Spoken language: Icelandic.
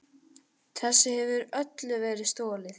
Þessu hefur öllu verið stolið!